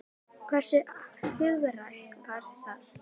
Hversu hugrakkt var það?